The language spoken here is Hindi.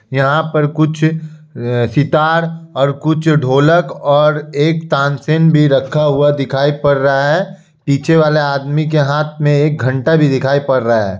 यहा पर कुछ अ सितार और कुछ ढोलक और एक तानसेन भी रखा हुआ दिखाई पड़ रहा है। पीछे वाला आदमी के हाथ में एक घंटा भी दिखाई पड़ रहा है।